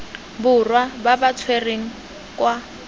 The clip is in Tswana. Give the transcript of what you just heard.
borwa ba ba tshwerweng kwa